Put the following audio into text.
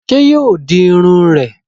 Sé yóò di Irun rè?